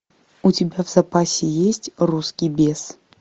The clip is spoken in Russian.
у тебя в запасе есть русский бес